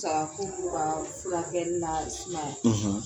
Sagakuku ka furakɛli na sumaya;